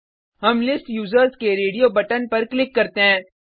हम list users के radio button पर क्लिक करते हैं